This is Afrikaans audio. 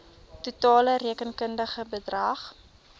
totale rekenkundige bedrag